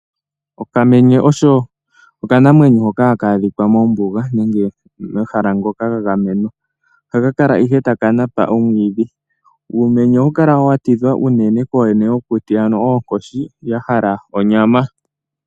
Okamenye oko okanamwenyo hono haka adhika mombuga nenge momahala ngoka ga gamenwa. Ohaka kala ihe taka napa omwiidhi. Uumenye ohawu kala wa tidhwa uunene kooyene yokuti ano oonkoshi dha hala onyama.